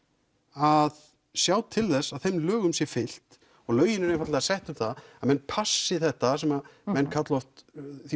að sjá til þess að þeim lögum sé fylgt og lögin eru einfaldlega sett um það að menn passi þetta sem menn kalla oft því